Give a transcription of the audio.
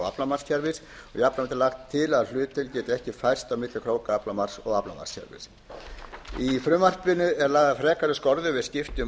er lagt til að hlutdeild yrði ekki færð á milli krókaaflamarks og aflamarkskerfis í frumvarpinu eru lagðar frekari skorður við skiptum